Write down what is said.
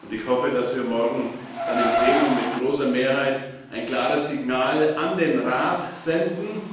Ich hoffe, dass wir morgen dann im Plenum mit großer Mehrheit ein klares Signal an den Rat senden.